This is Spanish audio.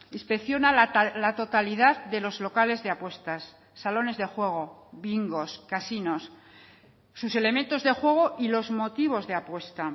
inspecciona la totalidad de los locales de apuestas salones de juego bingos casinos sus elementos de juego y los motivos de apuesta